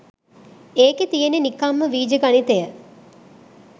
ඒකෙ තියෙන්නෙ නිකංම වීජ ගණිතය